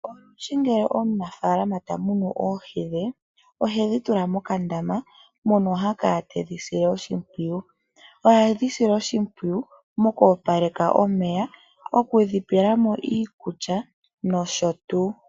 Olundji ngele omunafaalama tamunu oohi dhe ohedhi tula mokandama mono ha kala tedhi sile oshimpwiyu. Ohedhi sile oshimpwiyu moku opaleka omeya ,okudhi pelamo iikulya nosho tuu.